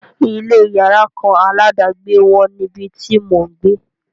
Ilé yàrá kan aládàgbé wọ́n níbi tí mò ń gbé.